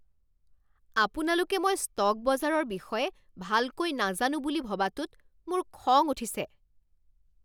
আপোনালোকে মই ষ্টক বজাৰৰ বিষয়ে ভালকৈ নাজানো বুলি ভবাটোত মোৰ খং উঠিছে।